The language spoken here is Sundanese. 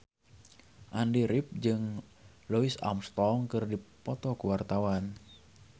Andy rif jeung Louis Armstrong keur dipoto ku wartawan